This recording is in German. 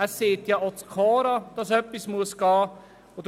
Dass etwas geschehen muss, sagt ja auch das KORA.